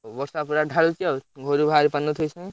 ବର୍ଷା ପୁରା ଢାଳୁଛି ଆଉ ଘରୁ ପାରୁନଥିବେ ସବୁ।